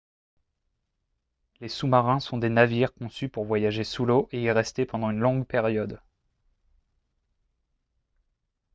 les sous-marins sont des navires conçus pour voyager sous l'eau et y rester pendant une longue période